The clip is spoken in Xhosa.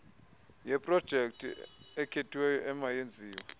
yeprojekthi ekhethiweyo emayenziwe